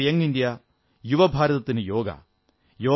yoga for young India യുവഭാരതത്തിനു യോഗ